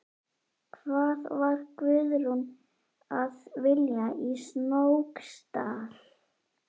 Hvað var Guðrún að vilja í Snóksdal?